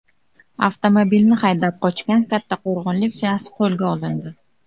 Avtomobilni haydab qochgan kattaqo‘rg‘onlik shaxs qo‘lga olindi.